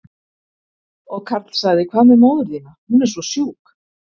Og Karl sagði, hvað með móður þína, hún er svo sjúk?